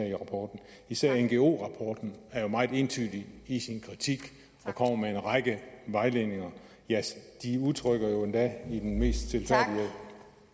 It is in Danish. i rapporten især ngo rapporten er jo meget entydig i sin kritik og kommer med en række vejledninger de udtrykker jo endda i den mest stilfærdige